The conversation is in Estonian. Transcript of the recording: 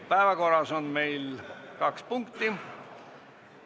Päevakorras on kaks punkti.